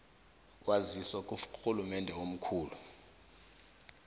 waziswa kurhulumende omkhulu